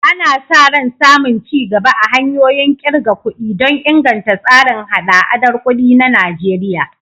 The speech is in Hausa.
Ana sa ran samun ci gaba a hanyoyin ƙirga kuɗi don inganta tsarin haɗa-haɗar kuɗi na Najeriya.